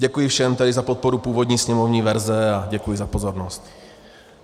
Děkuji všem tady za podporu původní sněmovní verze a děkuji za pozornost.